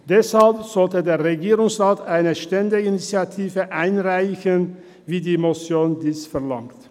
Deswegen sollte der Regierungsrat eine Ständeinitiative einreichen, wie dies die Motion verlangt.